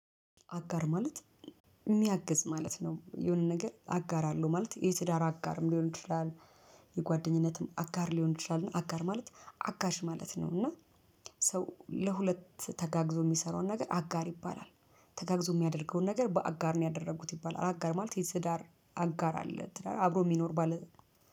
አጋር ማለት የሚያግዝ ማለት ነው። የሆነ ነገር አጋር አለው ማለት የትዳር አጋርም ሊሆን ይችላል። የጓደኝነትም አጋር ሊሆን ይችላል አጋር ማለት አጋዥ ማለት ነው። እና ሰው ለሁለት ተጋግዞ የሚሰራውን ነገር አጋር ይባላል። ተጋግዞ የሚያደርገውን ነገር በአጋር ነው ያደረጉት ይባላል አጋር ማለት የትዳር አጋር አለ አብሮ የሚኖር ባለ